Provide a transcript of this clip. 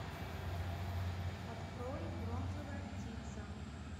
открой бронзовая птица